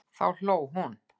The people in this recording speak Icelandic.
Þá hló hún.